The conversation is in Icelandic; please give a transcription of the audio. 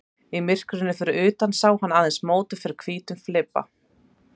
Í myrkrinu fyrir utan sá hann aðeins móta fyrir hvítum flibba.